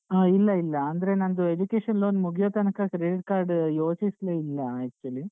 ಆ ಇಲ್ಲ ಇಲ್ಲ ಅಂದ್ರೆ ನಂದು education loan ಮುಗಿಯೋತನಕ credit card ಯೋಚಿಸ್ಲೀಲ್ಲಾ actually .